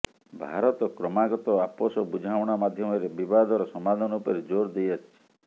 ଭାରତ କ୍ରମାଗତ ଆପୋଷ ବୁଝାମଣା ମାଧ୍ୟମରେ ବିବାଦର ସମାଧାନ ଉପରେ ଜୋର୍ ଦେଇ ଆସିଛି